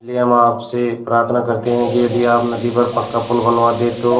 इसलिए हम आपसे प्रार्थना करते हैं कि यदि आप नदी पर पक्का पुल बनवा दे तो